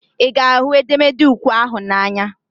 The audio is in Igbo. Ị ga ahụ edemede ukwe ahụ n'anya?